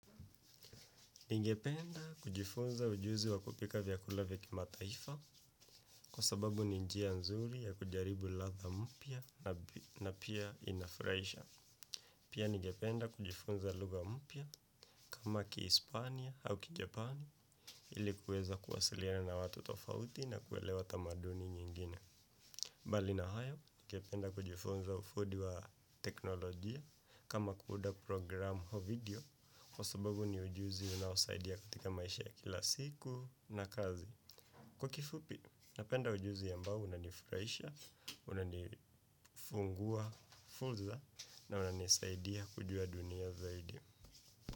Ningependa kujifunza ujuzi wakupika vyakulavya kima taifa kwa sababu ninjia nzuri ya kujaribu ladha mpya na pia inafurahisha. Pia nigependa kujifunza lugha mpya kama ki Hispania au ki Japani. Pia nigependa kujifunza lugha mpya kama ki Hispania au ki Japani ilikuweza kuwasiliana na watu tofauti na kuelewa tamaduni nyingine. Kama kuunda programu o video, kwasababu ni ujuzi unaosaidia katika maisha ya kila siku na kazi. Kwa kifupi, napenda ujuzi ambao unanifurahisha, unanifungua furza na unanisaidia kujua dunia zaidi.